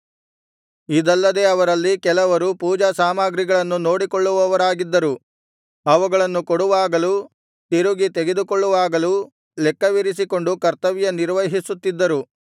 ಇದಲ್ಲದೆ ಅವರಲ್ಲಿ ಕೆಲವರು ಪೂಜಾ ಸಾಮಗ್ರಿಗಳನ್ನು ನೋಡಿಕೊಳ್ಳುವವರಾಗಿದ್ದರು ಅವುಗಳನ್ನು ಕೊಡುವಾಗಲೂ ತಿರುಗಿ ತೆಗೆದುಕೊಳ್ಳುವಾಗಲೂ ಲೆಕ್ಕವಿರಿಸಿಕೊಂಡು ಕರ್ತವ್ಯ ನಿರ್ವಹಿಸುತ್ತಿದ್ದರು